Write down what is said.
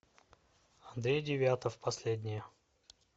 андрей девятов последнее